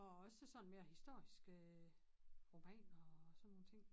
Og også sådan mere historiske romaner og sådan nogle ting